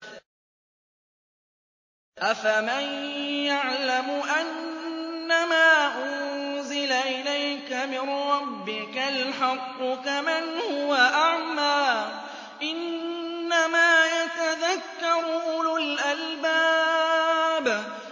۞ أَفَمَن يَعْلَمُ أَنَّمَا أُنزِلَ إِلَيْكَ مِن رَّبِّكَ الْحَقُّ كَمَنْ هُوَ أَعْمَىٰ ۚ إِنَّمَا يَتَذَكَّرُ أُولُو الْأَلْبَابِ